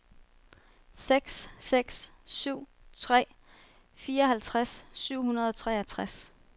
seks seks syv tre fireoghalvtreds syv hundrede og treogtres